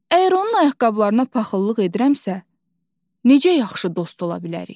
Əgər onun ayaqqabılarına paxıllıq edirəmsə, necə yaxşı dost ola bilərik?